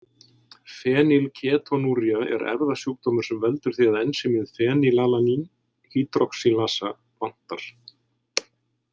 Fenýlketonúría er erfðasjúkdómur sem veldur því að ensímið fenýlalanín hydroxýlasa vantar.